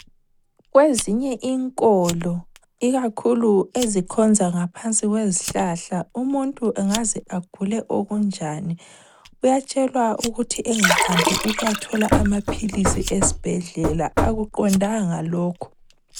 Kwezinye inkolo ikakhulu ezikhonza ngaphansi kwezihlahla umuntu angaze agule okunjani uyatshelwa ukuthi engahambi ukuyathola amaphilisi esibhedlela. Akuqondanga lokhu.